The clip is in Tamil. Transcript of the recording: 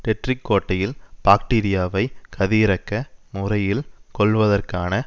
டெட்ரிக் கோட்டையில் பாக்டீரியாவை கதியிரக்க முறையில் கொல்வதற்கான